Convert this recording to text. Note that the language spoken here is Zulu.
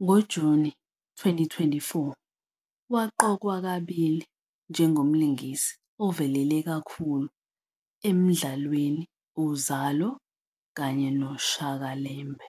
NgoJuni 2024 waqokwa kabili njengomlingisi ovelele kakhulu emidlalweni u"-Uzalo kanye no" "-Shaka Llembe"